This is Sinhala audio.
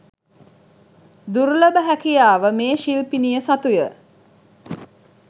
දුර්ලභ හැකියාව මේ ශිල්පිනිය සතුය.